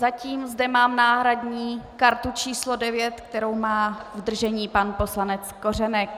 Zatím zde mám náhradní kartu číslo 9, kterou má v držení pan poslanec Kořenek.